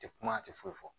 Tɛ kuma a tɛ foyi fɔ